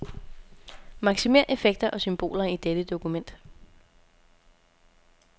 Maksimér effekter og symboler i dette dokument.